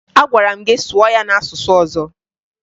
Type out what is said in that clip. Agwara m gị sụọ ya n'asụsụ ọzọ!